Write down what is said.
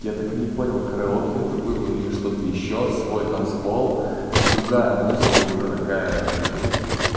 я так и не понял караоке это было или что-то ещё свой танцпол с другая музыка уже такая ну